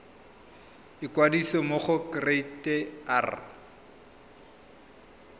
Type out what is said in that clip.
ikwadisa mo go kereite r